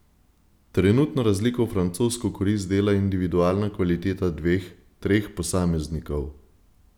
Trenutno razliko v francosko korist dela individualna kvaliteta dveh, treh posameznikov.